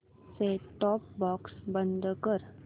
set top box बंद कर